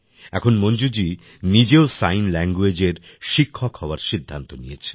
এখন মঞ্জুজি নিজেও sign language এর শিক্ষক হওয়ার সিদ্ধান্ত নিয়েছেন